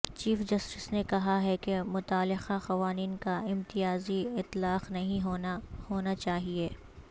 chief justice نے کہا ہے کہ متعلقہ قوانین کا امتیازی اطلاق نہیں ہونا ہونا چاہیے